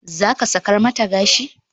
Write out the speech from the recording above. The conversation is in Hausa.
Zaka sakar mata gashi?